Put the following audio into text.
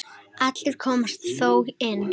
Allir komust þó inn.